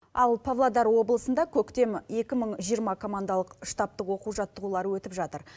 ал павлодар облысында көктем екі мың жиырма командалық штабтық оқу жаттығулары өтіп жатыр